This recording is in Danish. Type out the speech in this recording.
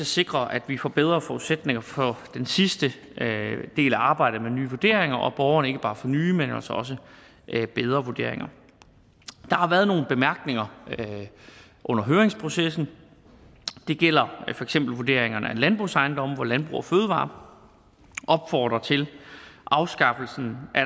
sikre at vi får bedre forudsætninger for den sidste del af arbejdet med nye vurderinger og at borgerne ikke bare får nye men altså også bedre vurderinger der har været nogle bemærkninger under høringsprocessen det gælder for eksempel vurderingerne af landbrugsejendomme hvor landbrug fødevarer opfordrer til at afskaffelsen af